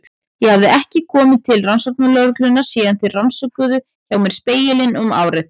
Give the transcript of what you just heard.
Ég hafði ekki komið til rannsóknarlögreglunnar síðan þeir rannsökuðu hjá mér Spegilinn um árið.